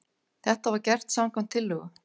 Þetta var gert samkvæmt tillögu